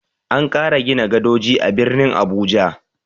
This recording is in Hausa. An ƙara gina gadoji a birnin Abuja.